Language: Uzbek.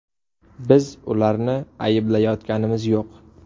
Biz ularni ayblayotganimiz yo‘q.